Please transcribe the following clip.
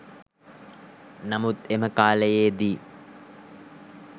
නමුත් එම කාලයේදී